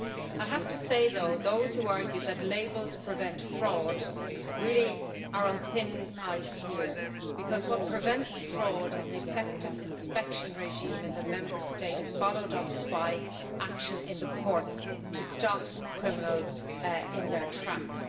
I have to say, though, that those who argue that labels prevent fraud really are on thin ice because what prevents fraud is an effective inspection regime in the Member States, followed up by action in the courts to stop criminals in their tracks.